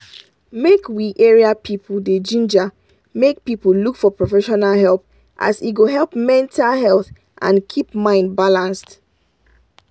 make we area people dey ginger make people look for professional help as e go help mental health and keep mind balanced.